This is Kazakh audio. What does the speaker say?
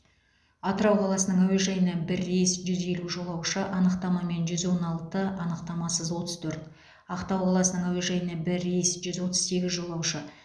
атырау қаласының әуежайына бір рейс жүз елу жолаушы анықтамамен жүз он алты анықтамасыз отыз төрт ақтау қаласының әуежайына бір рейс жүз отыз сегіз жолаушы